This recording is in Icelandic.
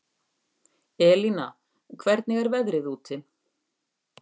Elína, hvernig er veðrið úti?